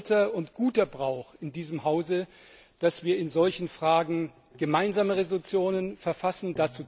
Es ist alter und guter Brauch in diesem Haus, dass wir in solchen Fragen Gemeinsame Entschließungen verfassen.